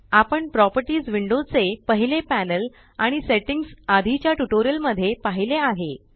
आपण properties window चे पहिले पॅनल आणि सेट्टिंग्स आधीच्या ट्यूटोरियल मध्ये पाहिले आहे